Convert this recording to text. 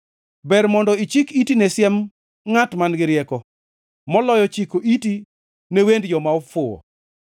Ber mondo ichik iti ne siem ngʼat man-gi rieko, moloyo chiko iti ne wend joma ofuwo.